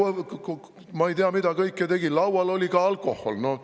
Helme tegi ei tea mida, laual oli ka alkohol!